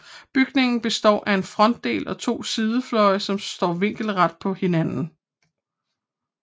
Bygningen består af en frontdel og to sidefløje som står vinkelret på hinanden